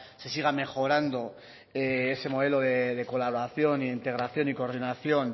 se siga mejorando ese modelo de colaboración y de integración y coordinación